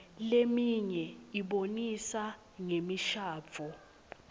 leminye ibonisa ngemishadvo